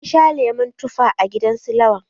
Na sha lemon tufa a gidan su Lawan.